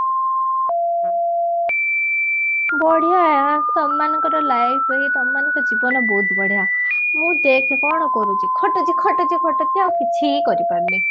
ବଢିଆ ତମମାନଙ୍କର life ରେ ହିଁ ତମମାନଙ୍କ ଜୀବନ ହିଁ ବହୁତ ବଢିଆ ମୁଁ ଦେଖ କଣ କରୁଛି ଖଟୁଛି ଖଟୁଛି ଖଟୁଛି ଆଉ କିଛି କରିପାରୁନି